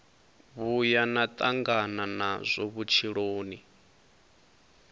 vhuya na tangana nazwo vhutshiloni